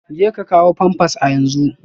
Jeka kawo pampers a yanzu